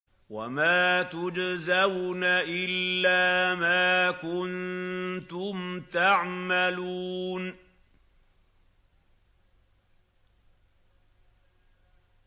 وَمَا تُجْزَوْنَ إِلَّا مَا كُنتُمْ تَعْمَلُونَ